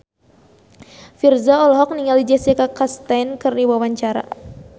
Virzha olohok ningali Jessica Chastain keur diwawancara